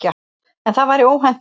En það væri óhentugt.